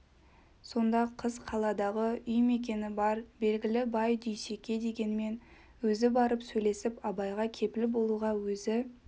сонда қыз қаладағы үй мекені бар белгілі бай дүйсеке дегенмен өзі барып сөйлесіп абайға кепіл болуға өзі